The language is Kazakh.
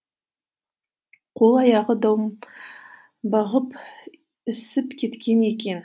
қол аяғы домбығып ісіп кеткен екен